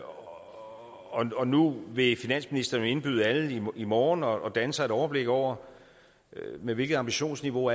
og og nu vil finansministeren indbyde alle i morgen og danne sig et overblik over med hvilket ambitionsniveau